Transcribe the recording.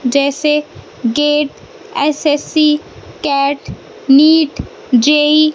जैसे GATE SSC CAT NEET JEE --